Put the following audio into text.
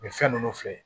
U bɛ fɛn ninnu filɛ